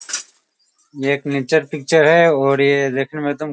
ये एक nature picture है और ये देखने में एकदम --